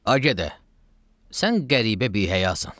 Ağa də, sən qəribə bihəyasan.